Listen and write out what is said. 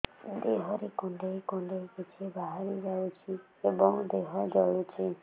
ଦେହରେ କୁଣ୍ଡେଇ କୁଣ୍ଡେଇ କିଛି ବାହାରି ଯାଉଛି ଏବଂ ଦେହ ଜଳୁଛି